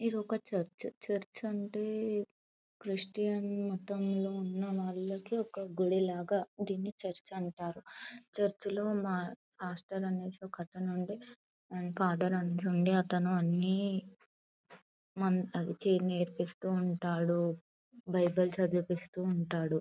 ఇది ఒక church . Church అంటే క్రిస్టియన్ మతం లో ఉన్న వాళ్ళకి ఒక గుడిలాగా దేనిని చర్చి అంటారు. చర్చి లో మా పాస్టర్ అనేసి ఒకతను ఉండే ఫాదర్ అనేసి ఉండే అతను అన్ని మం చ నేర్పిస్తూ ఉంటాడు. బైబిల్ చదివిపిస్తూ ఉంటాడు.